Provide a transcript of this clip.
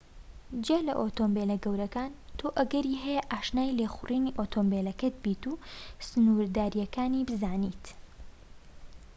جیا لە ئۆتۆمۆبیلە گەورەکان تۆ ئەگەری هەیە ئاشنای لێخوڕینی ئۆتۆمۆبیلەکەت بیت و سنوورداریەکانی بزانیت